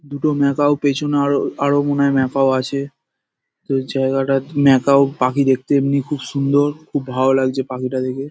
দুটো ম্যাকাও পেছনে আরো আরো মনে হয় ম্যাকাও আছে। তো এই জায়গাটাত ম্যাকাও পাখি দেখতে এমনি খুব সুন্দর খুব ভালো লাগছে পাখিটা দেখে।